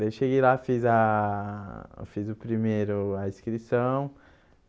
Daí cheguei lá, fiz a... fiz o primeiro, a inscrição.